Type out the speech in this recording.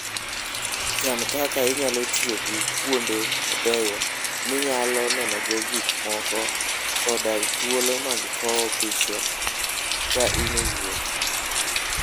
Chan kaka inyalo tiyo gi kuonde mabeyo minyalo nenogo gik moko koda thuolo mag kawo piche ka in e wuoth.